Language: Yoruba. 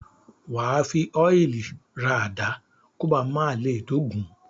Wà á fi ọ́ìlì ra àdá kó ba à má le dógùn-ún.